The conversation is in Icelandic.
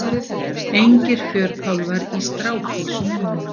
Engir fjörkálfar í strápilsum núna.